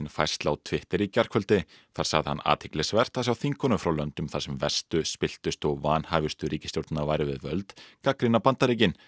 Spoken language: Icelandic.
færslu á Twitter í gærkvöldi þar sagði hann athyglisvert að sjá þingkonur frá löndum þar sem verstu spilltustu og vanhæfustu ríkisstjórnirnar væru við völd gagnrýna Bandaríkin